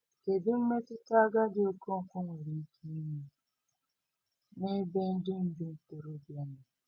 Kedu mmetụta agadi Okonkwo nwere ike inwe n’ebe ndị ndu ntorobịa nọ?